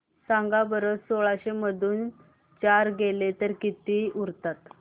सांगा बरं सोळाशे मधून चार गेले तर किती उरतात